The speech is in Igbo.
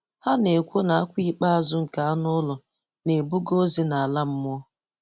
Ha na-ekwu na akwa ikpeazụ nke anụ ụlọ na-ebuga ozi nala mmụọ.